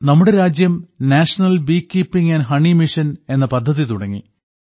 നമ്മുടെ രാജ്യം national bee keeping and honey mission എന്ന പദ്ധതി തുടങ്ങി